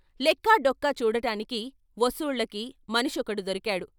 లెక్కా డొక్కా చూడటానికి, వసూళ్ళకి, మనిషొకడు దొరికాడు.